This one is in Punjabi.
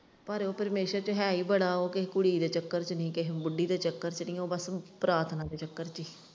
ਪਰ ਉਹ ਪਰਮੇਸ਼ਵਰ ਚ ਹੈ ਹੀ ਬੜਾ ਹੈ ਕਿਸੇ ਕੁੜੀ ਦੇ ਚੱਕਰ ਚ ਨਹੀਂ ਕਿਸੇ ਬੁੱਢੀ ਦੇ ਚੱਕਰ ਚ ਨਹੀਂ ਉਹ ਬਸ ਪਰਾਥਨਾ ਦੇ ਚੱਕਰ ਚ।